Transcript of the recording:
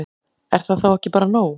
Er það þá ekki bara nóg?